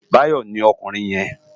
Bayo ni òkúrin yèn